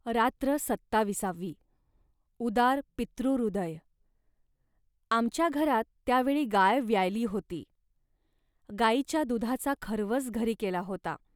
रात्र सत्ताविसावी उदार पितृहृदय..आमच्या घरात त्या वेळी गाय व्याली होती. गाईच्या दुधाचा खर्वस घरी केला होता